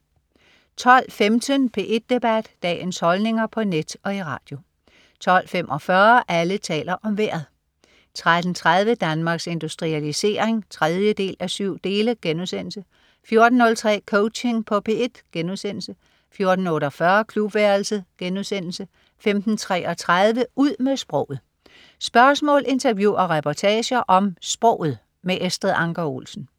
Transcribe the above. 12.15 P1 Debat. Dagens holdninger på net og i radio 12.45 Alle taler om Vejret 13.30 Danmarks Industrialisering 3:7* 14.03 Coaching på P1* 14.48 Klubværelset* 15.33 Ud med sproget. Spørgsmål, interview og reportager om sproget. Estrid Anker Olsen